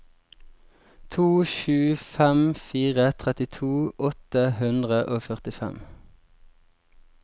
to sju fem fire trettito åtte hundre og førtifem